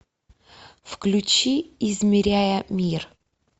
включи измеряя мир